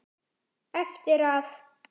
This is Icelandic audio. Eftir að